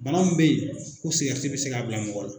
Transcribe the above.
Bana min bɛ ye ko sikɛriti bɛ se k'a bila mɔgɔ la.